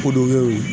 Ko dɔ be yen